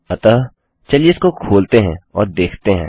अतःचलिए इसको खोलते हैं और देखते हैं